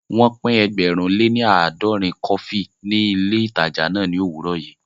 Wọ́n pín ẹgbẹ̀rún lè ní aadòrin kọfí ní ilé ìtajà náà ní òwúrọ̀ yìí